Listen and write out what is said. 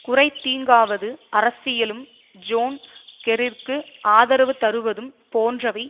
குறைந்த தீங்குவாத அரசியலும் ஜோன் கெர்ரிக்கு ஆதரவு தருவதும் போன்றவை